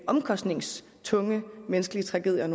omkostningstunge menneskelige tragedier